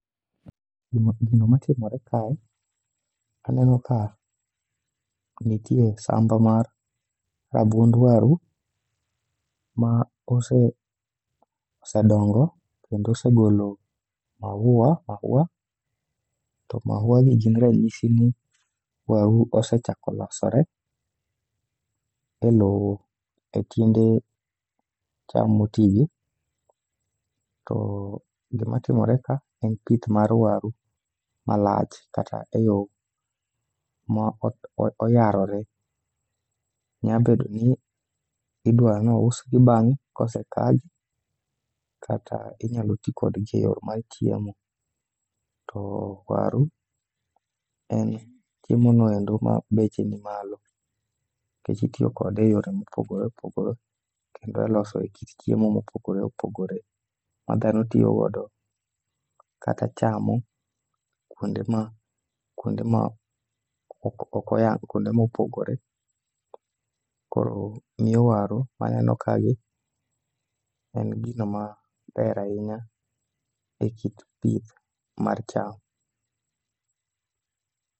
Gimatimore kae, aneno ka nitie sadho mar rabuond waru ma osedongo kendo osegolo mahua, to mahuagi gin ranyisi ni waru osechako losore e lowo e kind cham motigi, to gimatimore ka en pith mar waru malach kata e yo ma oyarore. Nyabedo ni idwa nousgi bang'e kosekagi kata inyalo ti kodgi e yo mar chiemo. To waru en chiemono endo ma beche nimalo, nikech itiyo kode e yore mopogore opogore kendo e loso kit chiemo mopogore opogore, ma dhano tiyo godo kata chamo kwonde ma opogore. Koro omiyo waru maneno kagi, en gino maber ahinya e kit pith mar cham.